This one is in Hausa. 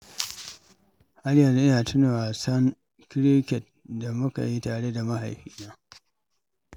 Har yanzu ina tuna zuwa wasan cricket da mu ka yi tare da mahaifina.